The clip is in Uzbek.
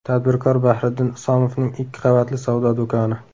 Tadbirkor Bahriddin Isomovning ikki qavatli savdo do‘koni.